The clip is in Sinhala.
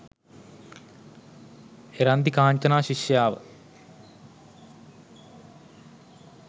එරන්දි කාංචනා ශිෂ්‍යාව